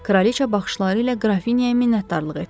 Kraliça baxışları ilə qrafinyaya minnətdarlıq etdi.